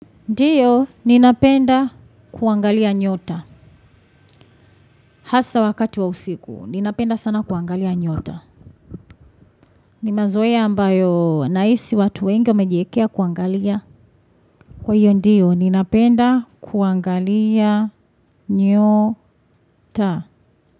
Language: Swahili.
Ndio, ninapenda kuangalia nyota. Hasa wakati wa usiku, ninapenda sana kuangalia nyota. Ni mazoea ambayo nahisi watu wengi wamejiekea kuangalia. Kwa hiyo ndio, ninapenda kuangalia nyota.